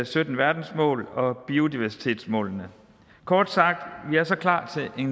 sytten verdensmål og biodiversitetsmålene kort sagt vi er så klar til en